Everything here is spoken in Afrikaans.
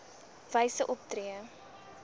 h wyse optree